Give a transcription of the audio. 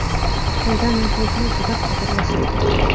Xitoyda nefritni juda qadrlashadi.